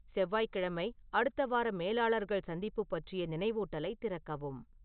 செவ்வாய்கிழமை அடுத்த வார மேலாளர்கள் சந்திப்பு பற்றிய நினைவூட்டலைத் திறக்கவும்